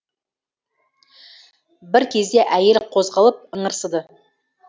бір кезде әйел қозғалып ыңырсыды